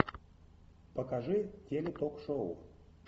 покажи теле ток шоу